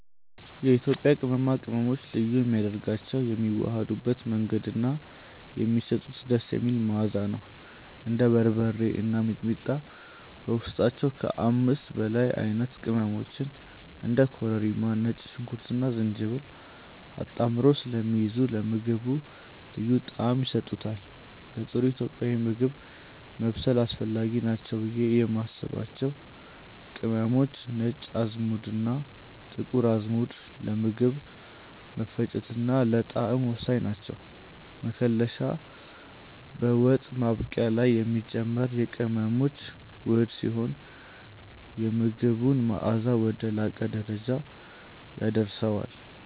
የኢትዮጵያ ቅመማ ቅመሞችን ልዩ የሚያደርጋቸው የሚዋሃዱበት መንገድ እና የሚሰጡት ደስ የሚል መዓዛ ነው። እንደ በርበሬ እና ሚጥሚጣ በውስጣቸው ከ5 በላይ አይነት ቅመሞችን (እንደ ኮረሪማ፣ ነጭ ሽንኩርትና ዝንጅብል) አጣምረው ስለሚይዙ ለምግቡ ልዩ ጣዕም ይሰጡታል። ለጥሩ ኢትዮጵያዊ ምግብ ማብሰል አስፈላጊ ናቸው ብዬ የማስባቸው ቅመሞች፦ ነጭ አዝሙድና ጥቁር አዝሙድ፦ ለምግብ መፈጨትና ለጣዕም ወሳኝ ናቸው። መከለሻ፦ በወጥ ማብቂያ ላይ የሚጨመር የቅመሞች ውህድ ሲሆን፣ የምግቡን መዓዛ ወደ ላቀ ደረጃ ያደርሰዋል።